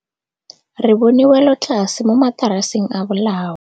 Re bone wêlôtlasê mo mataraseng a bolaô.